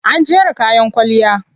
An jera kayan kwalliya.